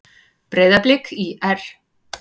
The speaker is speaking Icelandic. Breiðablik- ÍR